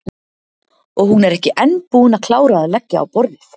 Og hún ekki enn búin að klára að leggja á borðið.